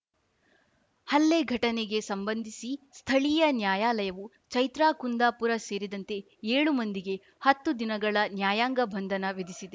ಹಲ್ಲೆ ಘಟನೆಗೆ ಸಂಬಂಧಿಸಿ ಸ್ಥಳೀಯ ನ್ಯಾಯಾಲಯವು ಚೈತ್ರಾ ಕುಂದಾಪುರ ಸೇರಿದಂತೆ ಏಳು ಮಂದಿಗೆ ಹತ್ತು ದಿನಗಳ ನ್ಯಾಯಾಂಗ ಬಂಧನ ವಿಧಿಸಿದೆ